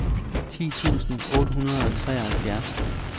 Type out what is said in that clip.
ti tusind otte hundrede og treoghalvfjerds